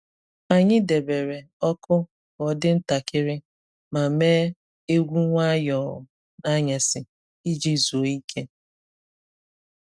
Anyị debere ọkụ ka ọ dị ntakịrị ma mee egwu nwayọọ n’anyasị iji zuo ike.